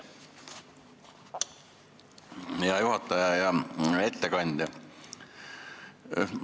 Hea juhataja ja ettekandja!